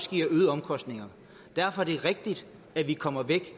giver øgede omkostninger derfor er det rigtigt at vi kommer væk